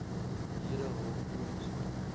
lede hul chroniese